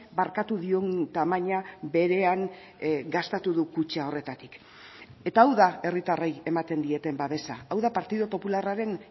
barkatu dion tamaina berean gastatu du kutxa horretatik eta hau da herritarrei ematen dieten babesa hau da partidu popularraren